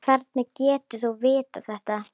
Hvernig getur þú vitað þetta?